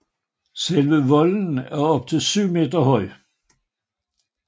Selve volden er op til syv meter høj